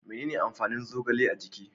Menene amfanin zogale a jiki?